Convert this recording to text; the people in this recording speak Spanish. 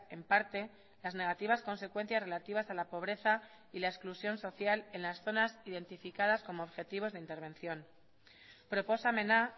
en parte las negativas consecuencias relativas a la pobreza y la exclusión social en las zonas identificadas como objetivos de intervención proposamena